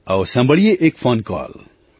આવો સાંભળીએ એક ફૉન કૉલ